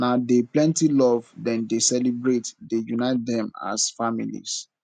na dey plenty love dem dey celebrate dey unite dem as families